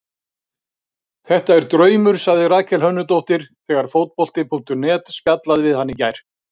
Þetta er draumur, sagði Rakel Hönnudóttir þegar Fótbolti.net spjallaði við hana í gær.